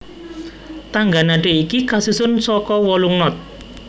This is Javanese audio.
Tangga nada iki kasusun saka wolung not